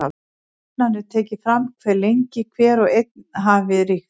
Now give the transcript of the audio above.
Jafnan er tekið fram hve lengi hver og einn hafi ríkt.